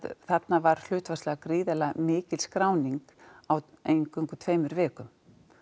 þarna var hlutfallslega gríðarlega mikil skráning á eingöngu tveimur vikum